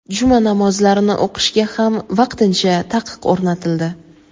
Juma namozlarini o‘qishga ham vaqtincha taqiq o‘rnatildi.